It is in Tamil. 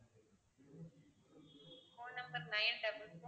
phone number nine double four